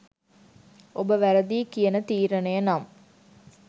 ඔබ වැරදියි කියන තීරණය නම්